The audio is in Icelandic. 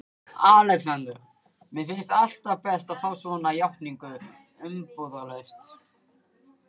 ALEXANDER: Mér finnst alltaf best að fá svona játningar umbúðalaust.